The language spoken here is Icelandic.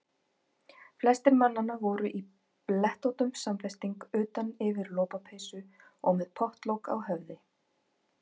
Flestir mannanna voru í blettóttum samfesting utan yfir lopapeysu og með pottlok á höfði.